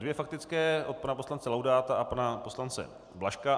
Dvě faktické od pana poslance Laudáta a pana poslance Blažka.